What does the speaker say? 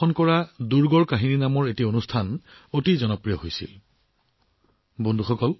ইয়াক চিত্ৰিত কৰা এটা অভিযান গড় আৰু কাহিনী অৰ্থাৎ দুৰ্গৰ সৈতে জড়িত কাহিনীবোৰো ৰাইজে ভাল পাইছিল